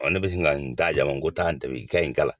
Ɔ ne bɛ sin ka n da yan n ko taa ni tobi i ka ɲi kala.